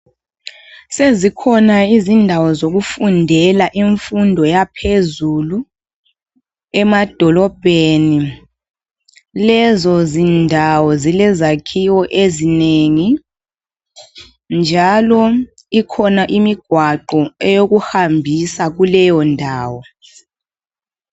Sezikhona izindawo zokufundela imfundo yaphezulu emadolobheni. Lezo zindawo zile zakhiwo ezinengi njalo ikhona imigwaqo eyokuhambisa kuleyo ndawo.